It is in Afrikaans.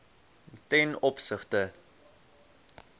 ten opsigte